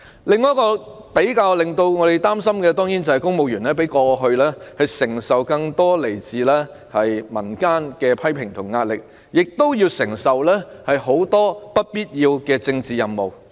教我們更感憂慮的另一個問題，是公務員與過去相比承受更多來自民間的批評和壓力，又要承擔眾多不必要的政治任務。